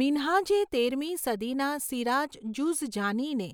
મિન્હાજે તેરમી સદીના સિરાજ જુઝજાનીને